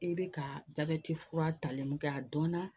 I bɛ ka jabɛti fura talen kɛ a dɔnna